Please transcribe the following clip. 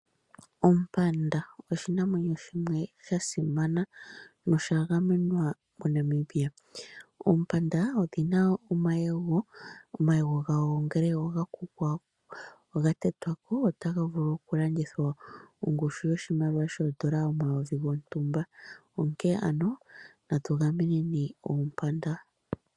Ompanda oshinamwenyo shimwe sha simana nosha gamenwa moNamibia. Oompanda odhi na omayego. Omayego gadho ngele oga tetwa ko, otaga vulu okulandithwa ongushu yoshimaliwa omayovi gontumba, onkene ano natu gameneni Oompanda.